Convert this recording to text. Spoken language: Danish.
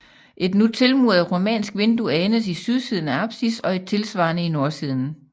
Et nu tilmuret romansk vindue anes i sydsiden af apsis og et tilsvarende i nordsiden